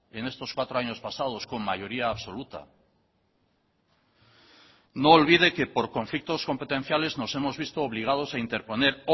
en estos cuatro años pasados con mayoría absoluta no olvide que por conflictos competenciales nos hemos visto obligados a interponer